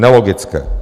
Nelogické.